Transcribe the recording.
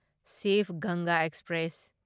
ꯁꯤꯚ ꯒꯪꯒꯥ ꯑꯦꯛꯁꯄ꯭ꯔꯦꯁ